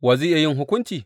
Wa zai yi hukunci?